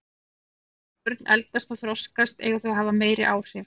Eftir því sem börn eldast og þroskast eiga þau að hafa meiri áhrif.